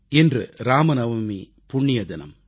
இன்று ராமநவமி புண்ணிய தினம்